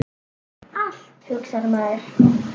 Allt, hugsar maður.